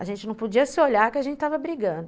A gente não podia se olhar que a gente estava brigando.